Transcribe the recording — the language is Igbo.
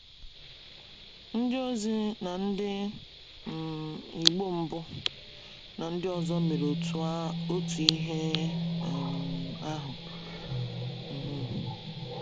Ndịozi na ndị um Igbo mbụ ndị ọzọ mere otu ihe um ahụ. um